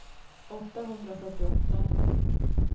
åttahundrafyrtioåtta